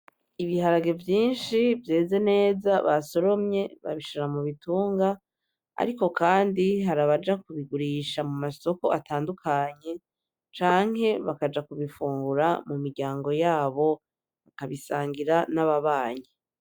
Ibiharage vyinshi vyeze neza basoromye babishira mu bitunga ariko kandi hari abaja kubigurisha mu masoko atandukanye canke bakaja kubifungura mu miryango yabo bakabisangira n'ababanyi.